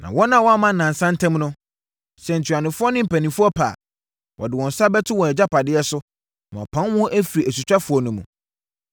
Na wɔn a wɔamma nnansa ntam no, sɛ ntuanofoɔ ne mpanimfoɔ pɛ a, wɔde wɔn nsa bɛto wɔn agyapadeɛ so, na wɔapam wɔn afiri asutwafoɔ no mu.